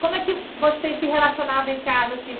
Como é que vocês se relacionavam em casa, assim?